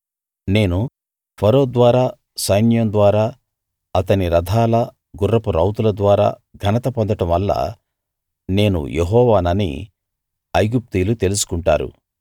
నేను ఫరో ద్వారా సైన్యం ద్వారా అతని రథాల గుర్రపు రౌతుల ద్వారా ఘనత పొందడం వల్ల నేను యెహోవానని ఐగుప్తీయులు తెలుసుకుంటారు